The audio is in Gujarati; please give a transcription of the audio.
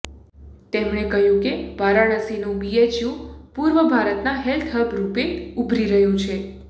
તેમણે કહ્યુ કે વારાણસીનું બીએચયુ પૂર્વ ભારતના હેલ્થ હબ રૂપે ઉભરી રહ્યુ છે